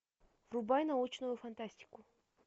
врубай научную фантастику